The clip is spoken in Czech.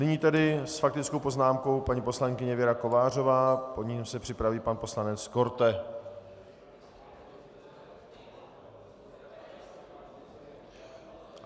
Nyní tedy s faktickou poznámkou paní poslankyně Věra Kovářová, po ní se připraví pan poslanec Korte.